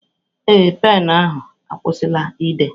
Ee, penụ ahụ akwụsịla ide.